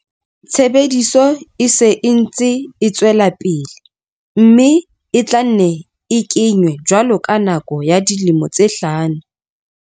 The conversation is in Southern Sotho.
Tshebediso e se e ntse e tswela pele mme e tla nne e ke nywe jwalo ka nako ya dilemo tse hlano.